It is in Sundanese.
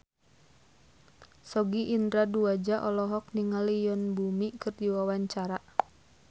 Sogi Indra Duaja olohok ningali Yoon Bomi keur diwawancara